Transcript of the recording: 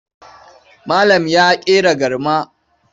Malam ya ƙera garma.